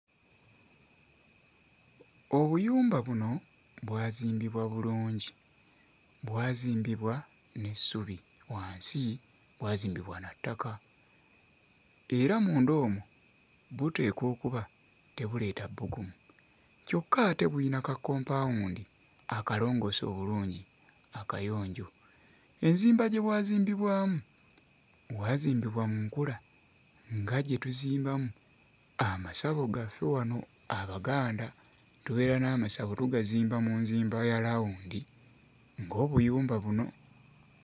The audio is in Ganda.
Obuyumba buno bwazimbibwa bulungi. Bwazimbibwa n'essubi. Wansi bwazimbibwa na ttaka. Era munda omwo buteekwa okuba tebuleeta bbugumu. Kyokka ate bulina kakkompaawundi akalongoose obulungi akayonjo. Enzimba gye bwazimbibwamu, bwazimbibwa mu nkula nga gye tuzimbamu amasabo gaffe wano Abaganda. Tubeera n'amasabo tugazimba mu nzimba ya laawundi nga obuyumba buno.